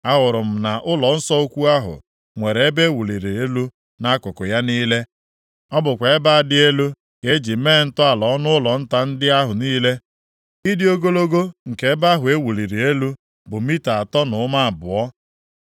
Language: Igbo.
Ahụrụ m na ụlọnsọ ukwu ahụ nwere ebe e wuliri elu nʼakụkụ ya niile. Ọ bụkwa ebe a dị elu ka e ji mee ntọala ọnụụlọ nta ndị ahụ niile. Ịdị ogologo nke ebe ahụ e wuliri elu bụ mita atọ na ụma abụọ.